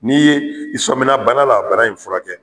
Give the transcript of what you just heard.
N'i ye i sɔmina bana la , bana in furakɛ.